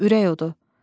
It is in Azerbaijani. Ürək odu.